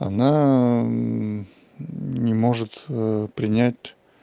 она не может принять